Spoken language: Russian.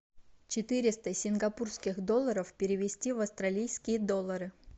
четыреста сингапурских долларов перевести в австралийские доллары